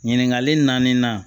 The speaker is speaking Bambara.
Ɲininkali naani na